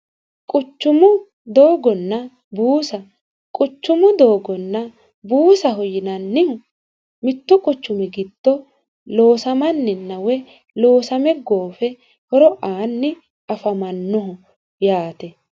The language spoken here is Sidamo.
quchumu doogonna buusa quchumu doogonna buusaho yinannihu mittu quchumi giddo loosamanninna woyi loosame goofe horo aanni afamannoho yaate